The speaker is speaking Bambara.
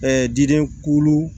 diden kulu